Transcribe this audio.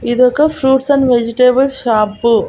ఇదొక fruits and vegetable shop .